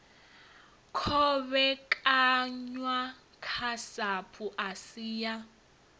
kovhekanywa ha sapu asi ya